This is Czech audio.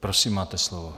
Prosím, máte slovo.